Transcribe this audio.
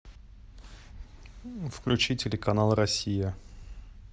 включи телеканал россия